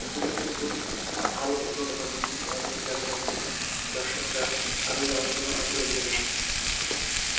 এগুলো কিন্তু ভালো উন্নত মানের করতে হবে যাতে দর্শকরা আরও যারা যেন আগ্রহী হয়ে পড়ে